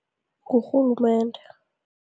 Ngurhulumende.